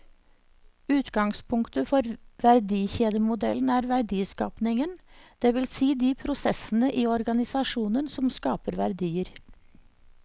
Utgangspunktet for verdikjedemodellen er verdiskapingen, det vil si de prosessene i organisasjonen som skaper verdier.